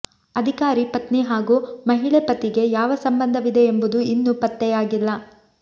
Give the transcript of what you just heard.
ಅಧಿಕಾರಿ ಪತ್ನಿ ಹಾಗೂ ಮಹಿಳೆ ಪತಿಗೆ ಯಾವ ಸಂಬಂಧವಿದೆ ಎಂಬುದು ಇನ್ನೂ ಪತ್ತೆಯಾಗಿಲ್ಲ